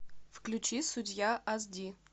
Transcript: включи судья ас ди